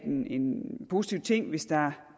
en en positiv ting hvis der